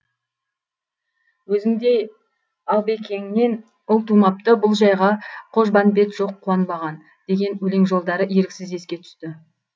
өзіңдей албекеңнен ұл тумапты бұл жайға қожбанбет жоқ қуанбаған деген өлең жолдары еріксіз еске түсті